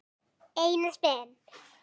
Einars Ben.